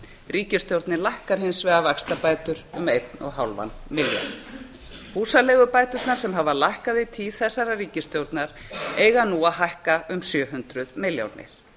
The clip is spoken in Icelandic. ríkisstjórnin lækkar hins vegar vaxtabætur um einn og hálfan milljarð húsaleigubæturnar sem hafa lækkað í tíð þessarar ríkisstjórnar eiga nú að hækka um sjö hundruð milljónir